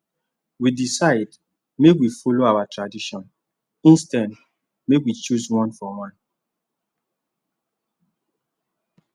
we decide make we follow our tradition instead make we choose one one for one